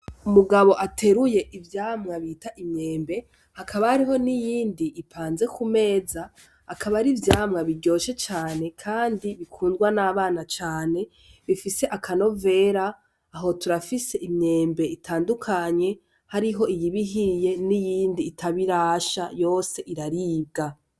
Umugabo ateruye ivyamwa bita imyembe hakaba hariyo niyindi ipanze ku meza akaba ari ivyamwa biryoshe cane kandi bikundwa n'abana cane bifise akanovera, aho turafise imyembe itandukanye hariho iyiba ihiye niyindi itaba irasha yose iraribwa.